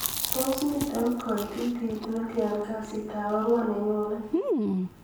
tun komiten koititiet netyan kasiit ab ang'wan nenyone